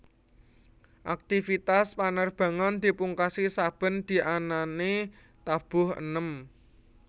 Aktivitas panerbangan dipungkasi saben dianane tabuh enem